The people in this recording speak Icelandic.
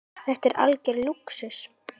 Þetta er algjör lúxus.